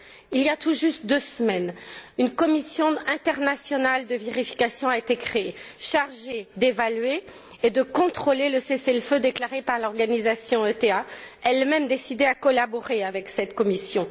Il y a tout juste deux semaines, une commission internationale de vérification a été créée, chargée d'évaluer et de contrôler le cessez le feu déclaré par l'organisation ETA, elle même décidée à collaborer avec cette commission.